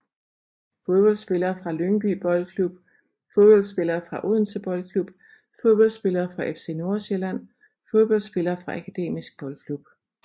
Fodboldspillere fra Lyngby Boldklub Fodboldspillere fra Odense Boldklub Fodboldspillere fra FC Nordsjælland Fodboldspillere fra Akademisk Boldklub